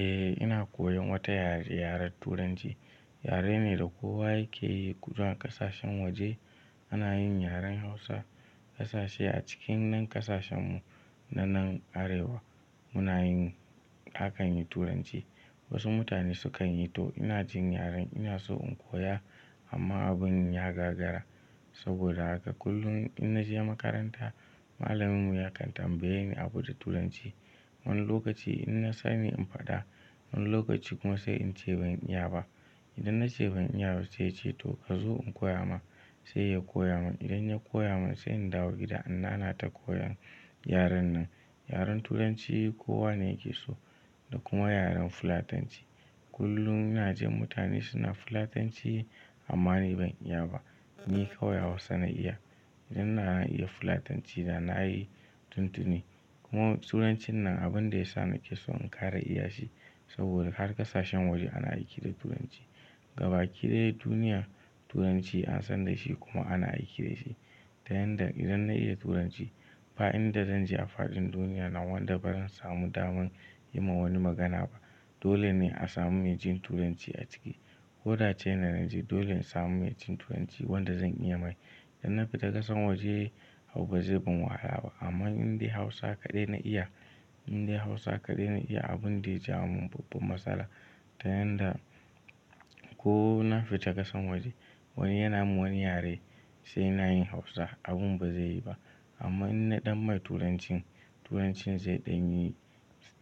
Eh ina koyan wata yare yaren Turanci. Yare ne da kowa yake yi, kuma ƙasashen waje ana yin yaren Hausa. Kasashe a cikin nan ƙasashe mu na nan Arewa muna yin, akan yi Turanci. Wasu mutane sukan yi to ina jin yaren ina so in koya amma abun ya gagara. Saboda haka kullum in na je makaranta, malamin mu yakan tambayani abu da Turanci. Wani lokaci ina sani in faɗa, wani lokaci kuma sai in ce ban iya ba. Idan na ce ban iya ba sai ya ce to ka zo in koya ma. Sai ya koya min, idan ya koya min sai in dawo gida inna na ta koyan yaren nan. Yaren Turanci kowa ne yake so da kuma yaren fulatanci. Kullum ina jin mutane suna fulatanci amma ni ban iya ba. Ni kawai Hausa na iya. In na iya fulatanci da na yi tuntuni kuma Turancin nan abun da ya sa nake so in ƙara iya shi. Saboda har ƙasashen waje ana aiki da Turanci. Ga baki da yi duniya Turanci an san da shi kuma ana aiki da shi. Ta yanda idan na iya Turanci ba inda zan je a faɗin duniya na wanda bazan samu daman yi ma wani magana ba. Dole ne a samu mai jin Turanci a ciki. Koda ce ina naje dole in samu mai jin Turanci wanda zan iya mai. Idan na fita ƙasan waje ba zai ban wahala ba amma in dai Hausa kaɗai na iya, in dai Hausa kaɗai na iya abun da ya jawo min babba matsala. Ta yanda ko na fita ƙasan waje wani yana mun wani yare sai na yi Hausa abun ba zai yi ba. Amma in naɗan mai Turancin, Turancin zai ɗan yi,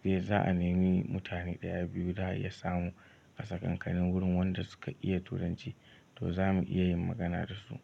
sai za a nemi mutane ɗaya biyu da ya samu ƙasa ƙanƙanin wurin wanda suka iya Turanci to za mu iya yin magana da su.